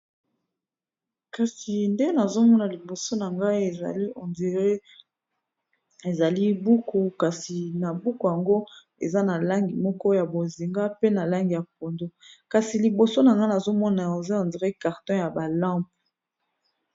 Kasi nde nazomona liboso na ngai, ezali buku, kasi na buku yango eza na langi moko ya bozinga, pe na langi ya pondu, kasi liboso na nga nazomona eza neti carton ya balampe.